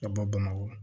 Ka bɔ bamakɔ